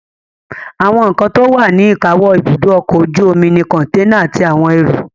Àwọn nǹkan tó wà ní ìkáwọ́ ibùdó ọkọ̀ ojú omi ni kọ̀ǹténà àti àwọn ẹrù